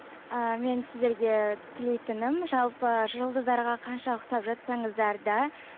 ыыы мен сіздерге тілейтінім жалпы жұлдыздарға қанша ұқсап жатсаңыздар да